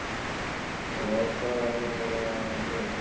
Já, hvað var eiginlega að mér?